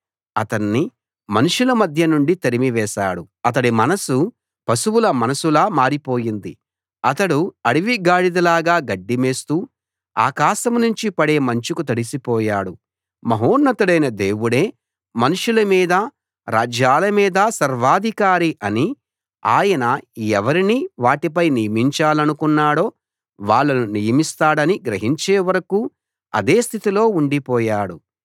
అతణ్ణి మనుషుల మధ్య నుండి తరిమివేశాడు అతడి మనసు పశువుల మనసులా మారిపోయింది అతడు అడవి గాడిదలాగా గడ్డి మేస్తూ ఆకాశం నుంచి పడే మంచుకు తడిసిపోయాడు మహోన్నతుడైన దేవుడే మనుషుల మీదా రాజ్యాల మీదా సర్వాధికారి అనీ ఆయన ఎవరిని వాటిపై నియమించాలనుకున్నాడో వాళ్ళను నియమిస్తాడనీ గ్రహించే వరకూ అదే స్థితిలో ఉండిపోయాడు